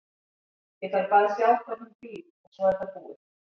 Ég þarf bara að sjá hvar hún býr og svo er það búið.